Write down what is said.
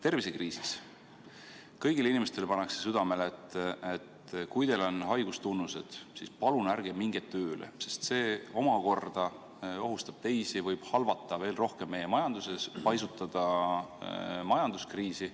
Tervisekriisis kõigile inimestele pannakse südamele, et kui teil on haigustunnused, siis palun ärge minge tööle, sest see omakorda ohustab teisi, võib halvata veel rohkem meie majandust, paisutada majanduskriisi.